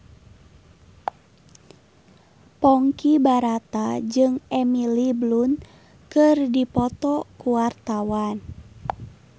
Ponky Brata jeung Emily Blunt keur dipoto ku wartawan